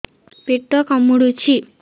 ପେଟ କାମୁଡୁଛି